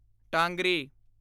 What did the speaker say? ਟਾਂਗਰੀ